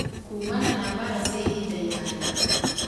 kuumana na mbara cia ihinda iraya